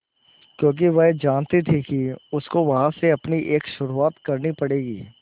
क्योंकि वह जानती थी कि उसको वहीं से अपनी एक शुरुआत करनी पड़ेगी